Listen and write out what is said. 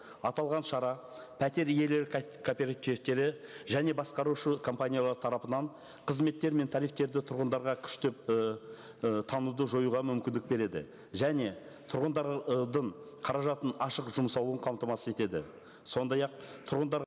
аталған шара пәтер иелері кооперативтері және басқарушы компаниялар тарапынан қызметтер мен тарифтерді тұрғындарға күштеп ыыы таңуды жоюға мүмкіндік береді және тұрғындар қаражатын ашық жұмсауын қамтамасыз етеді сондай ақ тұрғындар